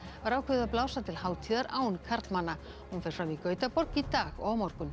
var ákveðið að blása til hátíðar án karlmanna hún fer fram í Gautaborg í dag og á morgun